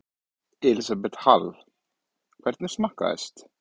Elísabet Hall: Hvernig smakkaðist?